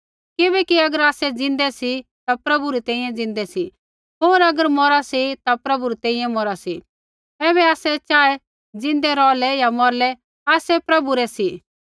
किबैकि अगर आसै ज़िन्दै सी ता प्रभु रै तैंईंयैं ज़िन्दै सी होर अगर मौरा सी ता प्रभु री तैंईंयैं मौरा सी ऐबै आसै चाहे ज़िन्दै रौहलै या मौरलै आसै प्रभु रै सी